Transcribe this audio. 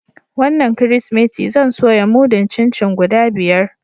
Wanan kiristimeti zan soya mudun chin-chin guda biyar.